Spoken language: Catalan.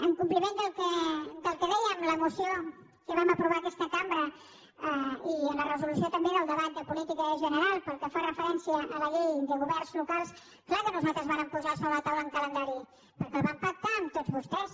en compliment del que deia la moció que vam aprovar en aquesta cambra i en la resolució també del debat de política general pel que fa referència a la llei de governs locals clar que nosaltres vàrem posar sobre la taula un calendari perquè el van pactar amb tots vostès